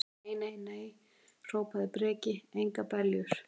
Nei, nei, nei, hrópaði Breki, engar beljur.